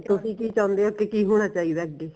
ਤੁਸੀਂ ਕਿ ਚਾਉਂਦੇ ਓ ਕਿ ਕਿ ਹੋਣਾ ਚਾਹੀਦਾ ਅੱਗੇ